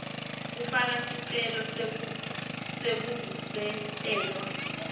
kufaka sicelo sekuvusetelwa